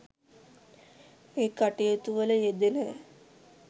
මේ කටයුතු වල යෙදෙන